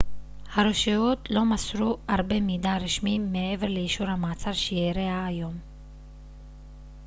הרשויות לא מסרו הרבה מידע רשמי מעבר לאישור המעצר שאירע היום